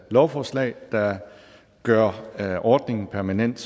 lovforslag der gør ordningen permanent